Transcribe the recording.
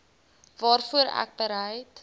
waarvoor ek bereid